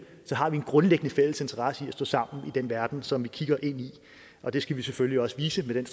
så har en grundlæggende fælles interesse i at stå sammen i den verden som vi kigger ind i og det skal vi selvfølgelig også vise med den